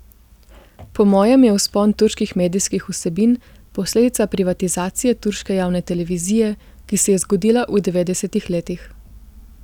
Po mojem je vzpon turških medijskih vsebin posledica privatizacije turške javne televizije, ki se je zgodila v devetdesetih letih.